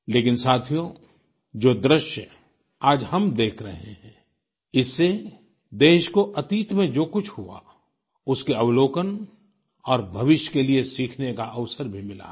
लेकिन साथियो जो दृश्य आज हम देख रहे हैं इससे देश को अतीत में जो कुछ हुआ उसके अवलोकन और भविष्य के लिए सीखने का अवसर भी मिला है